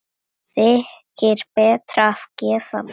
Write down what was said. Þykir betra að gefa barnið.